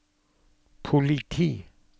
politi